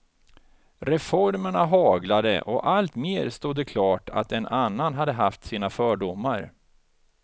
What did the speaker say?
Reformerna haglade och allt mer stod det klart att en annan hade haft sina fördomar.